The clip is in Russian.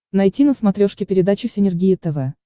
найти на смотрешке передачу синергия тв